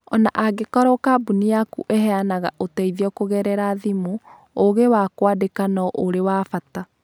O na angĩkorũo kambuni yaku ĩheanaga ũteithio kũgerera thimũ, ũũgĩ wa kwandĩka no ũrĩ wa bata.